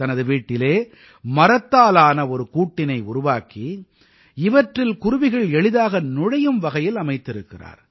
தனது வீட்டிலே மரத்தாலான ஒரு கூட்டினை உருவாக்கி இவற்றில் குருவிகள் எளிதாக நுழையும் வகையில் அமைத்திருக்கிறார்